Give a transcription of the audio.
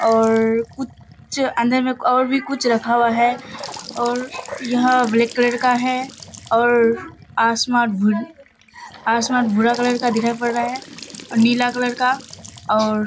और कुछ अंदर में और भी कुछ रखा हुआ है और यह ब्लैक कलर का है और आसमान भू आसमान भूरा कलर का दिखाई पड़ रहा है और नीला कलर का और --